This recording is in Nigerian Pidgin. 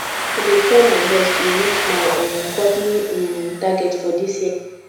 i dey try my best to reach my um company um target for dis year